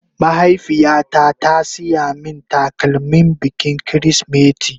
Mahaifiya ta ta siya min takalmin bikin kirisimeti